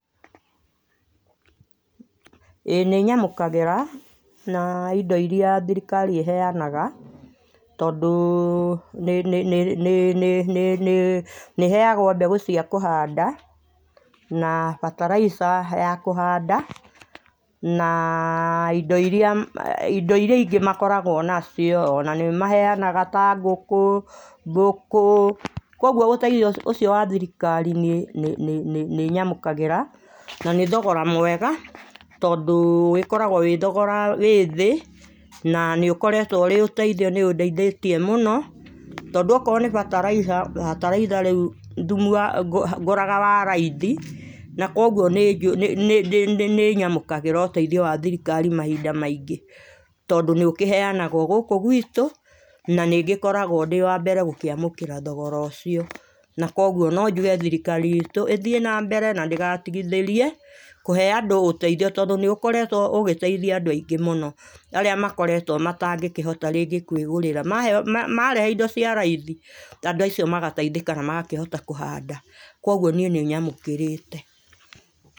Ĩ nĩ nyamũkagĩra na indo ĩrĩa thirikari ĩ heanaga tondũ nĩ nĩ heagwo mbegũ cia kũhanda na bataraica ya kũhanda na indo irĩ a indo irĩa ingĩ makoragwo na cio ona nĩmaheanaga ta ngũkũ ngũkũ kũogũo ũteithio wa thirikari nĩ nĩ nyamũkagĩra na nĩ thogora mwega nĩ tondũ ũkoragwo wĩ thogora wĩ thĩ na nĩũkoretwwo ũrĩ ũteĩthio nĩũndeoĩthĩtie mũno tondũ a korwo nĩ bataraica bataraica rĩũ ngũraga wa raithina kũogũo nĩ nĩnyamũkagĩra ũteithio wa thirikari mahinda maingĩ tondũ nĩ ũkĩheanagwo gũkũ guitũ na nĩngĩkorwagwo ndĩ wa mbere gũkĩamũkĩra thogora ũcio na kũogũo no njũge thirikari itũ ĩ thiĩ na mbere na ndĩgatigithĩrie kũhe andũ ũteithio tondũ nĩũkoretwo ũgĩteithia andũ aingĩ mũno arĩa makoretwo matangĩkĩhota rĩngĩ kwĩgũrĩra marehe indo cia raithiandũ acio magateithĩka na magakĩhota kũhanda kũogũo niĩ nĩnyamũkĩrĩte.